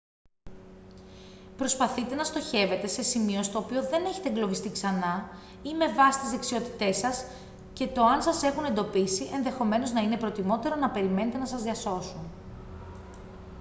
προσπαθείτε να στοχεύετε σε σημείο στο οποίο δεν έχετε εγκλωβιστεί ξανά ή με βάση τις δεξιότητές σας και το αν σας έχουν εντοπίσει ενδεχομένως να είναι προτιμότερο να περιμένετε να σας διασώσουν